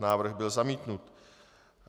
Návrh byl zamítnut.